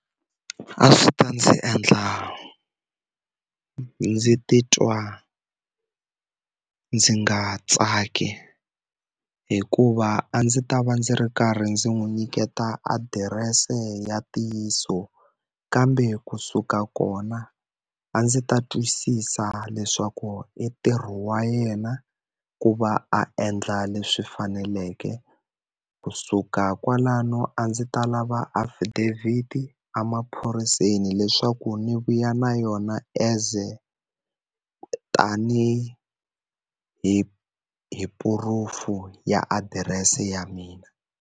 A swi ta ndzi endla ndzi titwa ndzi nga tsaki hikuva a ndzi ta va ndzi ri karhi ndzi n'wi nyiketa adirese ya ntiyiso, kambe kusuka kona a ndzi ta twisisa leswaku i ntirho wa yena ku va a endla leswi faneleke. Ku suka kwalano a ndzi ta lava affidavit-i emaphoriseni leswaku ndzi vuya na yona as tanihi hi hi proof ya adirese ya mina.